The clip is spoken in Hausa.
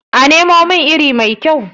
a Nemo min iri mai kyau?